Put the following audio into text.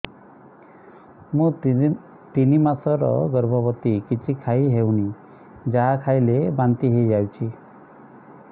ମୁଁ ତିନି ମାସର ଗର୍ଭବତୀ କିଛି ଖାଇ ହେଉନି ଯାହା ଖାଇଲେ ବାନ୍ତି ହୋଇଯାଉଛି